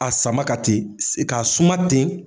A sama ka ten k'a suma ten.